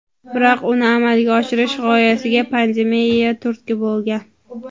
Biroq uni amalga oshirish g‘oyasiga pandemiya turtki bo‘lgan.